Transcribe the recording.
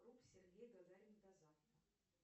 сергей гагарин до завтра